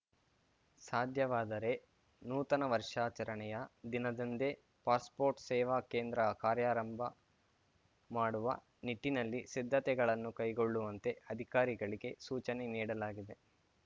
ಸಾಧ್ಯವಾದರೆ ನೂತನ ವರ್ಷಾಚರಣೆಯ ದಿನದಂದೇ ಪಾಸ್‌ಪೋರ್ಟ್‌ ಸೇವಾ ಕೇಂದ್ರ ಕಾರ್ಯಾರಂಭ ಮಾಡುವ ನಿಟ್ಟಿನಲ್ಲಿ ಸಿದ್ಧತೆಗಳನ್ನು ಕೈಗೊಳ್ಳುವಂತೆ ಅಧಿಕಾರಿಗಳಿಗೆ ಸೂಚನೆ ನೀಡಲಾಗಿದೆ